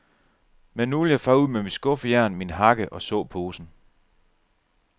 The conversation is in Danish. Men nu vil jeg fare ud med mit skuffejern, min hakke og såposen.